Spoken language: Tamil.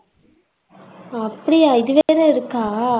அப்டியா இது வேற இருக்கா